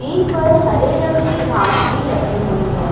इन पर हरे रंग की घास भी लगी हुई है।